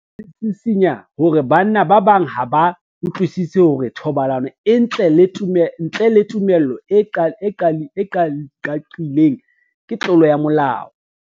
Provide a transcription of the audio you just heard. Sena se sisinya hore banna ba bang ha ba utlwisisi hore thobalano ntle le tumello e qaqileng ke tlolo ya molao.